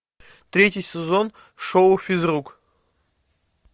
третий сезон шоу физрук